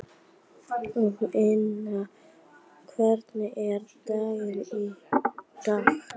Vilhelmína, hvernig er dagskráin í dag?